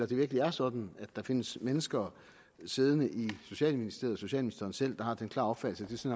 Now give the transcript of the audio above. det virkelig er sådan at der findes mennesker siddende i socialministeriet herunder socialministeren selv der har den klare opfattelse